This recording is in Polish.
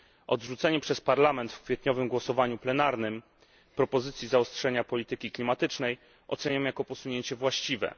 Odrzucenie przez Parlament w kwietniowym głosowaniu plenarnym propozycji zaostrzenia polityki klimatycznej oceniam jako posunięcie właściwe.